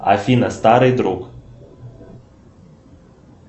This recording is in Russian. афина старый друг